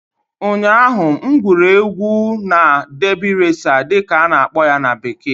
ụnyaahụ, m na-egwuri egwu na "derby racer" dị ka a na-akpọ ya na bekee